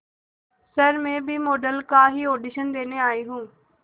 sir मैं भी model का ही ऑडिशन देने आई हूं